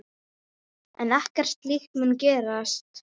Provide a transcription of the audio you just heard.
En ekkert slíkt mun gerast.